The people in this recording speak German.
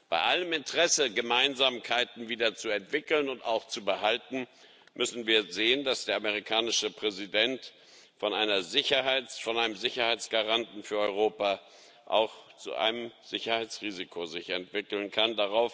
Bei allem Interesse, Gemeinsamkeiten wieder zu entwickeln und auch zu behalten, müssen wir sehen, dass der amerikanische Präsident sich von einem Sicherheitsgaranten für Europa auch zu einem Sicherheitsrisiko entwickeln kann.